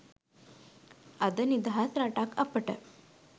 අද නිදහස් රටක් අපට